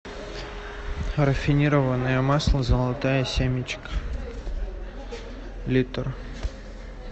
рафинированное масло золотая семечка литр